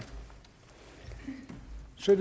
så